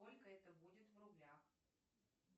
сколько это будет в рублях